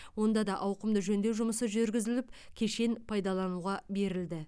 онда да ауқымды жөндеу жұмысы жүргізіліп кешен пайдалануға берілді